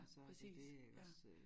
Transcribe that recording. Præcis ja